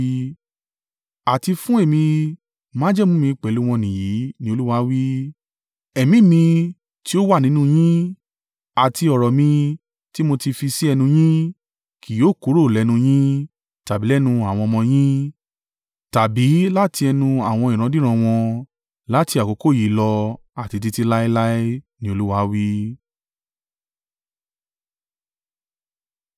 “Àti fún èmi, májẹ̀mú mi pẹ̀lú wọn nìyìí,” ni Olúwa wí, “Ẹ̀mí mi, tí ó wà nínú yín, àti ọ̀rọ̀ mi tí mo ti fi sí ẹnu yín, kì yóò kúrò lẹ́nu yín, tàbí lẹ́nu àwọn ọmọ yín, tàbí láti ẹnu àwọn ìrandíran wọn láti àkókò yìí lọ àti títí láéláé,” ni Olúwa wí.